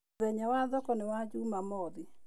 Mũthenya wa thoko nĩ Njumamothi